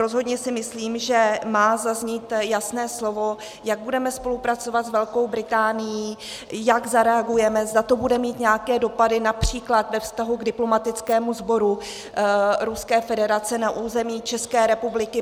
Rozhodně si myslím, že má zaznít jasné slovo, jak budeme spolupracovat s Velkou Británií, jak zareagujeme, zda to bude mít nějaké dopady například ve vztahu k diplomatickému sboru Ruské federace na území České republiky.